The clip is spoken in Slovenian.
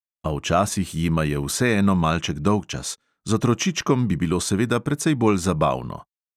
A včasih jima je vseeno malček dolgčas, z otročičkom bi bilo seveda precej bolj zabavno.